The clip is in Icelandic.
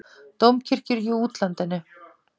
Dómkirkjur í útlandinu